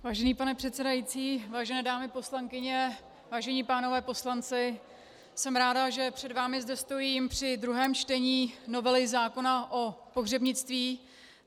Vážený pane předsedající, vážené dámy poslankyně, vážení pánové poslanci, jsem ráda, že před vámi zde stojím při druhém čtení novely zákona o pohřebnictví.